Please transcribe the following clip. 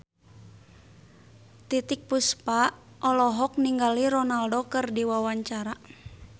Titiek Puspa olohok ningali Ronaldo keur diwawancara